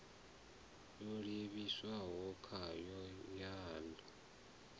yo livhiwaho khayo ya ḽu